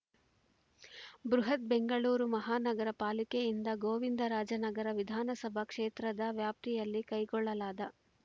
ಬೃಹತ್‌ ಬೆಂಗಳೂರು ಮಹಾನಗರ ಪಾಲಿಕೆಯಿಂದ ಗೋವಿಂದರಾಜನಗರ ವಿಧಾನಸಭಾ ಕ್ಷೇತ್ರದ ವ್ಯಾಪ್ತಿಯಲ್ಲಿ ಕೈಗೊಳ್ಳಲಾದ